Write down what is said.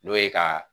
N'o ye ka